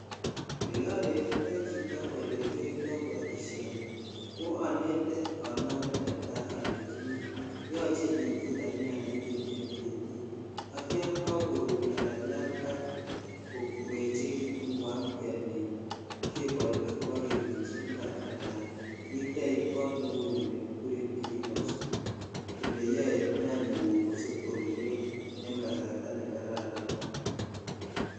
Ole onetitoi chito olekiyoito boishoni ko onete netai onome oleini yoche itutan nyanyik en betit ak yan kakorut ala yan kakoechekutun koamkemi kebol ak keib koba kemichi impar ala itech kot neuni ne kiguren [cs[greenhouse aloeyo nyanyiguk kosib koruryo en kasarta ne kararan .